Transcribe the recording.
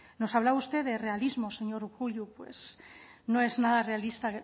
nos hablaba usted de realismo señor urkullu pues no es nada realista